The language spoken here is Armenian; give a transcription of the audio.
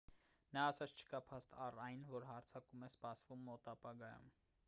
նա ասաց չկա փաստ առ այն որ հարձակում է սպասվում մոտ ապագայում